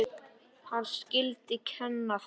Hann skyldi kenna þeim.